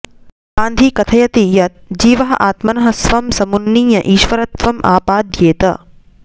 गान्धी कथयति यत् जीवः आत्मनः स्वं समुन्नीय ईश्वरत्वम् आपाद्येत